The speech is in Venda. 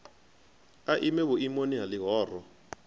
a ime vhuimoni ha ḽihoro